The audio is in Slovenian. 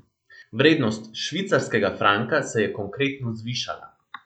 Vrednost švicarskega franka se je konkretno zvišala.